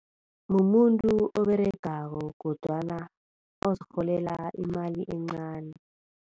Mumuntu oberegako kodwana ozirholela imali encani.